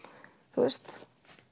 þú veist